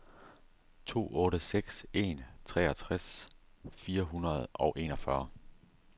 to otte seks en treogtres fire hundrede og enogfyrre